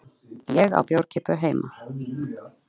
Ég á bjórkippu heima.